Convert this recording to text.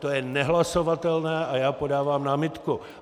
To je nehlasovatelné a já podávám námitku.